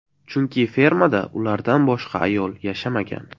Chunki fermada ulardan boshqa ayol yashamagan.